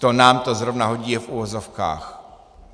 To nám to zrovna hodí je v uvozovkách.